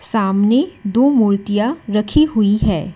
सामने दो मूर्तियां रखी हुई है।